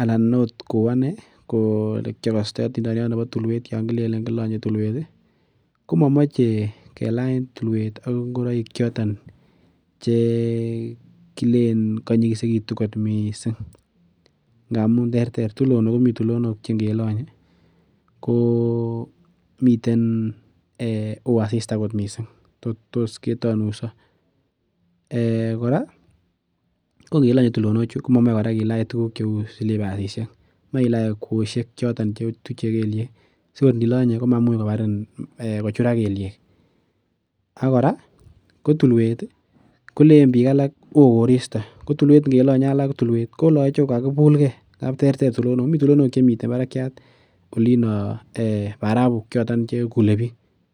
ana ot kou anee ko elekikokostoi otindoniot nebo tulwet yan kilenen kilonye tulwet ih ko momoche kelany tulwet ak ngoroik choton chekilen konyikisetu kot missing amun terter tulonok komii tulonok chekelonye ko miten oo asista kotonuiso. Kora ko ngelonye tulonok chu komomoe kilach tuguk cheu silipasisiek, moe kilach kwosiek choton chetuche kelyek sikor ilonye komabarin ana kochurak kelyek ak kora ko tulwet ih kolenen biik alak oo koristo ko tulwet ngelonye alak tulwet ko kakobulgee ngap terter tulonok mii tulonok chemiten barakiat olino barakuk choton chekule biik